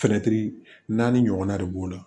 naani ɲɔgɔnna de b'o la